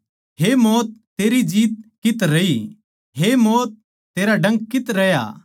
हे मौत तेरी जीत कित्त रही हे मौत तेरा डंक कित्त रहया